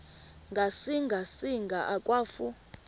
ngasinga singa akwafu